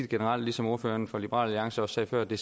generelt ligesom ordføreren for liberal alliance også sagde før det